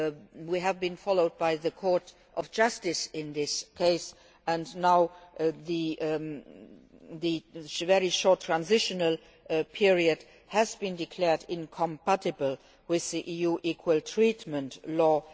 We were followed by the Court of Justice in this case, and now the very short transitional period has been declared incompatible with the EU equal treatment